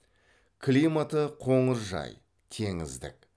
климаты қоңыржай теңіздік